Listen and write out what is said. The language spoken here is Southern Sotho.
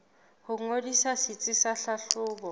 ho ngodisa setsi sa tlhahlobo